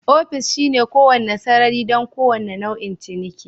Ofis shine kowane sarari don kowane nau'in ciniki